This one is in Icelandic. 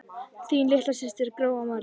Þín litla systir, Gróa María.